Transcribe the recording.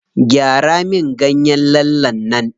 Gyara min ganyen lallen nan.